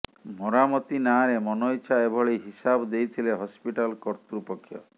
ମରାମତି ନାଁରେ ମନଇଛା ଏଭଳି ହିସାବ ଦେଇଥିଲେ ହସ୍ପିଟାଲ କର୍ତୃପକ୍ଷ